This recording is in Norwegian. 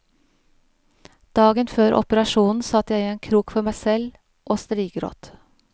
Dagen før operasjonen satt jeg i en krok for meg selv å strigråt.